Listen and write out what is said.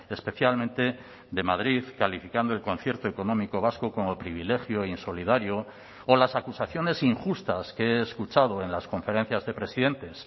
especialmente de madrid calificando el concierto económico vasco como privilegio insolidario o las acusaciones injustas que he escuchado en las conferencias de presidentes